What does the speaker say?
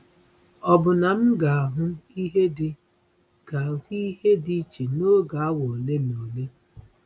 Ọ̀ bụ na m ga-ahụ ihe dị ga-ahụ ihe dị iche n’oge awa ole na ole?”